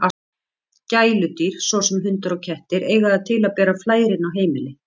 Gæludýr, svo sem hundar og kettir, eiga það til að bera flær inn á heimili.